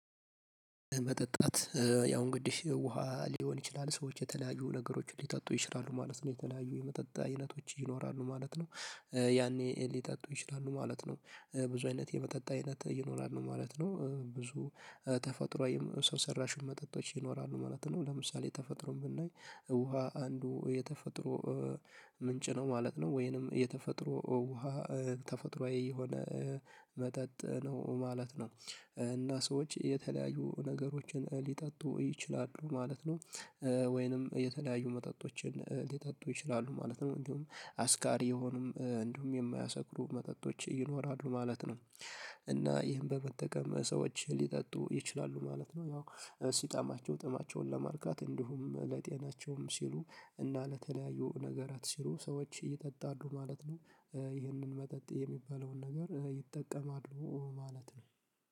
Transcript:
መጠጣት ያው እንግዲህ ውሃ ሊሆን ይችላል፣ ሰዎች የተለያዩ ነገሮችን ሊጠጡ ይችላሉ ማለት ነው የተለያዩ የመጠጥ አይነቶች ይኖራሉ ማለት ነው ያኔ ሊጠጡ ይችላሉ ማለት ነው። ብዙ አይነት የመጠጥ አይነት ይኖራሉ ማለት ነው ብዙ ተፈጥሮአዊ ሰው ሰራሽ መጠጦች ይኖራሉ ማለት ነው፤ ለምሳሌ የተፈጥሮን የምናይ ውሃ አንዱ የተፈጥሮ ምንጭ ነው ማለት ነው ወይንም የተፈጥሮ ውሃ ተፈጥሮአዊ የሆነ መጠጥ ነው ማለት ነው እና ሰዎች የተለያዩ ነገሮችን ሊጠጡ ይችላሉ ማለት ነው። ወይንም የተለያዩ መጠጦችን ሊጠጡ ይችላሉ ማለት ነው። እንዲሁም አስካሪ የሆኑም እንዲሁም የማያሰክሩ መጠጦች ይኖራሉ ማለት ነው እና ይህን በመጠቀም ሰዎች ሊጠጡ ይችላሉ ማለት ነው። ያው እሱ ሲጠማቸው ጥማቸውን ለማርካት እንዲሁም ለጤናቸውም ሲሉ እና ለተለያዩ ነገራት ሲሉ ሰዎች እየጠጣሉ ማለት ነው፣ ይህንን መጠጥ የሚባለውን ነገር ይጠቀማሉ ማለት ነው።